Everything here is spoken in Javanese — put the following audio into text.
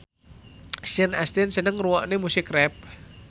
Sean Astin seneng ngrungokne musik rap